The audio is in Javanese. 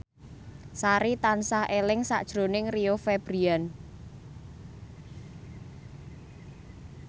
Sari tansah eling sakjroning Rio Febrian